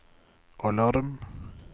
alarm